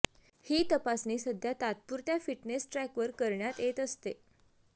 ही तपासणी सध्या तात्पुरत्या फिटनेस ट्रॅकवर करण्यात येत असते